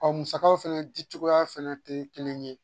musakaw fana di cogoya fɛnɛ tɛ kelen ye